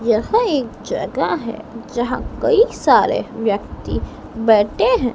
यह एक जगह है जहां कई सारे व्यक्ति बैठे हैं।